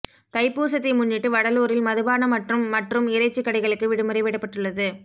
தைப்பூசத்தை முன்னிட்டு வடலூரில் மதுபான மற்றும் மற்றும் இறைச்சி கடைகளுக்கு விடுமுறை விடப்பட்டுள்ளது